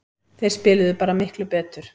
Þeir spiluðu bara miklu betur